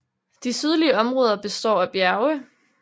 De sydlige områder består af bjerge